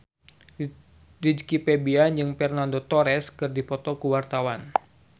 Rizky Febian jeung Fernando Torres keur dipoto ku wartawan